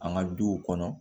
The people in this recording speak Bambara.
An ka duw kɔnɔ